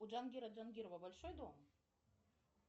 у джангира джангирова большой дом